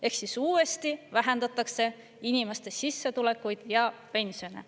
Ehk siis uuesti vähendatakse inimeste sissetulekuid ja pensione.